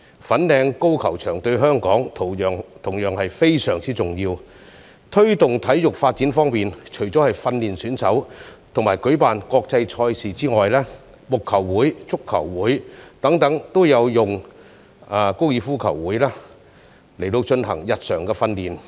粉嶺高爾夫球場對香港同樣非常重要。在推動體育發展方面，除了訓練選手和舉辦國際賽事外，木球會、足球會等亦會借用高爾夫球場進行日常訓練。